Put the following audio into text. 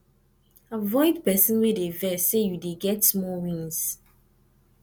avoid pesin wey dey vex sey you dey get small wins